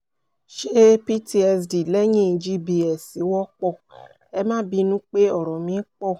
ṣé ptsd lẹ́yìn gbs wọ́pọ̀? ẹ má bínú pé ọ̀rọ̀ mí pọ̀